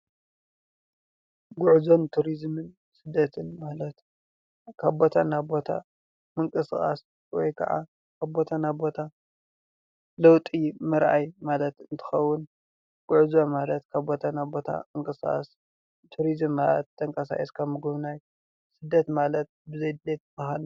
ጉዕዞን ቱሪዝምን ስደትን ማለት ካብ ቦታ ናብ ቦታ ምንቅስቓስ ወይ ከዓ ካብ ቦታ ናብ ቦታ ለውጢ ምርኣይ ማለት እንትኸውን፤ ጉዕዞ ማለት ካብ ቦታ ናብ ቦታ ምንቅስቓስ፤ ቱሪዝም ማለት ተንቀሳቒስካ ምጉብናይ ፤ስደት ማለት ብዘይ ድሌት ምኻድ።